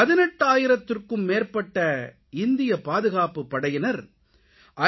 18000த்திற்கும் மேற்பட்ட இந்திய பாதுகாப்புப் படையினர் ஐ